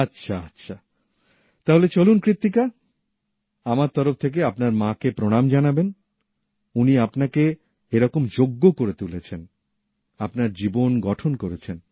আচ্ছা আচ্ছা তাহলে চলুন কৃত্তিকা আমার তরফ থেকে আপনার মা কে প্রণাম জানাবেন উনি আপনাকে এরকম যোগ্য করে তুলেছেন আপনার জীবন গঠন করেছেন